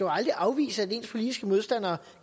aldrig afvise at ens politiske modstandere